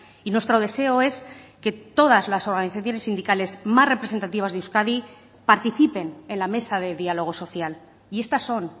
y nuestro deseo es que todas las organizaciones sindicales más representativas de euskadi participen en la mesa de diálogo social y estas son